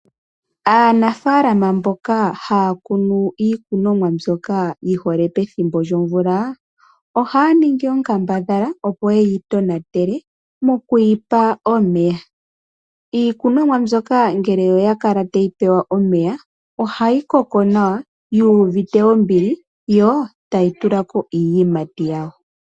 Aanafaalama mboka haya kunu iikunomwa mbyoka yi hole pethimbo lyomvula ohaya ningi onkambadhala, opo ye yi tonatele okuyi pa omeya. Iikunomwa mbyoka ngele oya kala tayi pewa omeya ohayi koko nawa yu uvite ombili yo tayi tula ko iiyimati yawo.